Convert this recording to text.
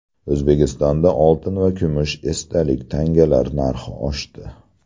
O‘zbekistonda oltin va kumush esdalik tangalar narxi oshdi.